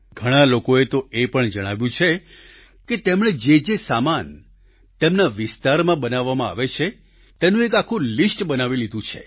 ઘણાં લોકોએ તો એ પણ જણાવ્યું છે કે તેમણે જે જે સામાન તેમના વિસ્તારમાં બનાવવામાં આવે છે તેનું એક આખું લિસ્ટ બનાવી લીધું છે